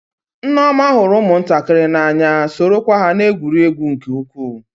Nneoma hụrụ ụmụntakịrị n'anya, sorokwa ha na-egwuri egwu nke ukwuu.